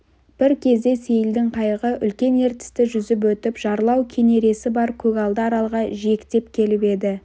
бір кезде сейілдің қайығы үлкен ертісті жүзіп өтіп жарлау кенересі бар көгалды аралға жиектеп келіп еді